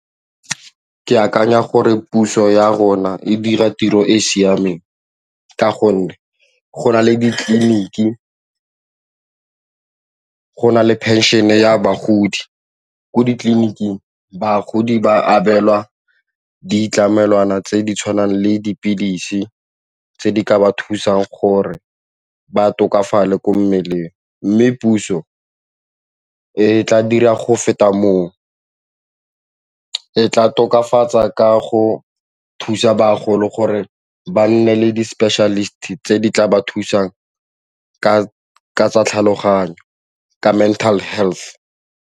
Ke akanya gore puso ya rona e dira tiro e e siameng ka gonne go na le ditleliniki go na le phenšene ya bagodi ko ditleliniking bagodi ba abelwa ditlamelwana tse di tshwanang le dipilisi tse di ka ba thusang gore ba tokafala ko mmeleng mme puso e tla dira go feta mo, ke tla tokafatsa ka go thusa bagolo gore ba nne le di-specialist-e tse di tla ba thusang ka tsa tlhaloganyo, ka mental health.